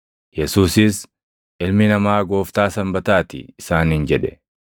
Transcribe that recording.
Yesuusis, “Ilmi Namaa Gooftaa Sanbataa ti” isaaniin jedhe.